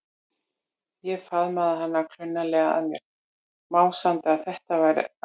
Ég faðmaði hana klunnalega að mér, másandi að þetta væri alveg frábært.